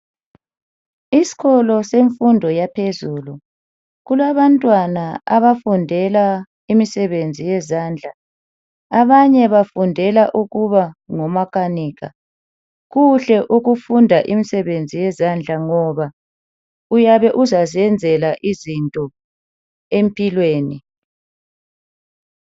Isikolo semfundo yaphezulu, kulabantwana abafundela imisebenzi yezandla. Abanye bafundela ukuba ngoma Kanika. Kuhle ukufunda imisebenzi yezandla ngoba uyabe uzaziyenzela izinto empilweni.